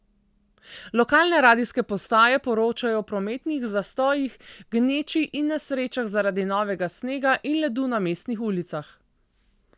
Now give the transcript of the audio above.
Lokalne radijske postaje poročajo o prometnih zastojih, gneči in nesrečah zaradi novega snega in ledu na mestnih ulicah.